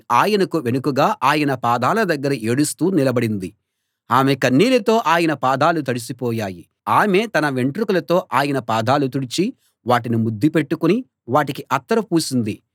ఆయనకు వెనుకగా ఆయన పాదాల దగ్గర ఏడుస్తూ నిలబడింది ఆమె కన్నీళ్ళతో ఆయన పాదాలు తడిసి పోయాయి ఆమె తన వెంట్రుకలతో ఆయన పాదాలు తుడిచి వాటిని ముద్దు పెట్టుకుని వాటికి అత్తరు పూసింది